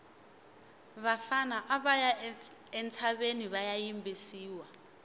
vafana ava ya entshaveni vaya yimbisiwa